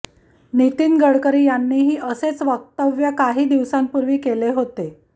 नितीन गडकरी यांनीही असेच वक्तव्य काही दिवसांपूर्वी केले होते